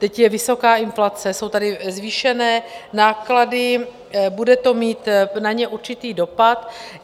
Teď je vysoká inflace, jsou tady zvýšené náklady, bude to mít na ně určitý dopad.